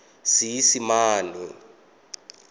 seesimane